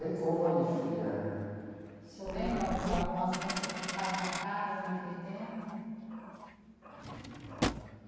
Ray Conniff, é. O senhor lembra de algumas músicas que ficaram marcadas naquele tempo?